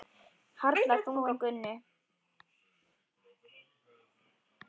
Harla þung á Gunnu.